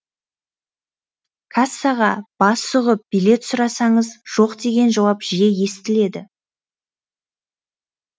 кассаға бас сұғып билет сұрасаңыз жоқ деген жауап жиі естіледі